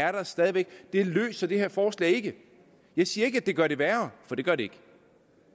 er der stadig væk og det løser det her forslag ikke jeg siger ikke at det gør det værre for det gør det ikke